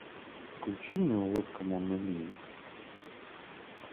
включи мне улыбка моны лизы